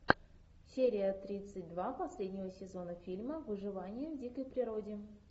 серия тридцать два последнего сезона фильма выживание в дикой природе